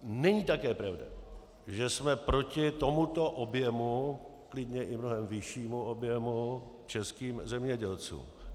Není také pravda, že jsme proti tomuto objemu, klidně i mnohem vyššímu objemu, českým zemědělcům.